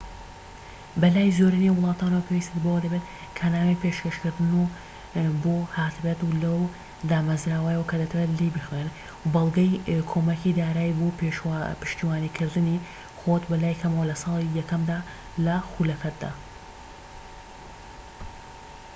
بەلای زۆرینەی وڵاتانەوە پێوستت بەوە دەبێت کە نامەی پێشکەشکردنت بۆ هاتبێت لەو دامەزراوەیەوە کە دەتەوێت لێی بخوێنیت وە بەڵگەی کۆمەکی دارایی بۆ پشتیوانیکردنی خۆت بەلای کەمەوە لە ساڵی یەکەمدا لە خولەکەتدا